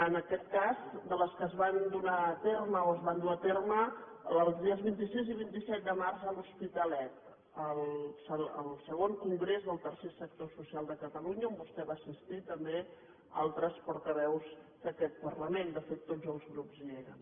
en aquest cas de les que es van donar a terme o es van dur a terme els dies vint sis i vint set de març a l’hospitalet al ii congrés del tercer sector social de catalunya on vostè va assistir també altres portaveus d’aquest parlament de fet tots els grups hi eren